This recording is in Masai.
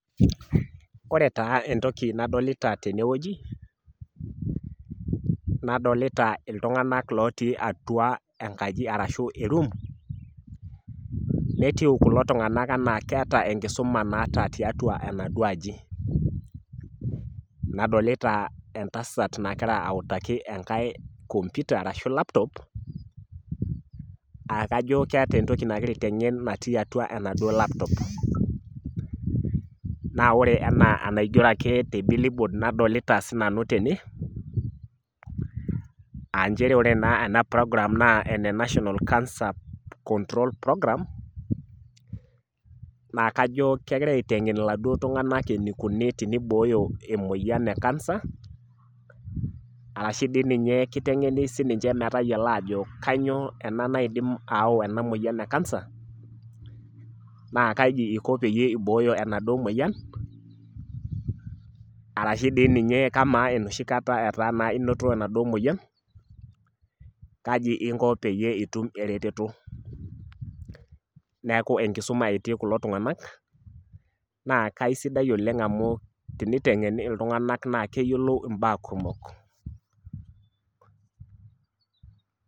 Wore taa entoki nadolita tenewoji, nadolita iltunganak lootii atua enkaji arashu eroom, netiu kulo tunganak enaa keeta enkisuma naata tiatua enaduo aji. Nadolita entasat nakira autaki enkae computer arashu laptop ,aa kajo keeta entoki nakira aitengen natii atua enaduo laptop. Naa wore enaa enaigiero ake te bill board nadolita sinanu tene, aa nchere wore naa ena program naa ene National cancer control program, naa kajo kekira aitengen iladuo tunganak enikuni tenibooyo emoyian e cancer, arashu dii ninye kitengeni sininche metayiolo aajo kainyoo ena naidim ayau ena moyian e cancer ,naa kaji iko peyie ibooyo enaduo moyian, arashu dii ninye kamaa enoshi kata etaa naa inoto enaduo moyian, kaji inko peyie itum eretoto. Neeku enkisuma etii kulo tunganak, naa kaisidai oleng' amu tenitengeni iltunganak naa keyiolou imbaa kumok.